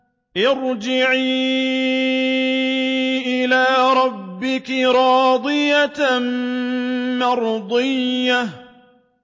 ارْجِعِي إِلَىٰ رَبِّكِ رَاضِيَةً مَّرْضِيَّةً